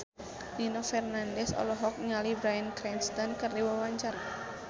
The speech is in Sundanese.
Nino Fernandez olohok ningali Bryan Cranston keur diwawancara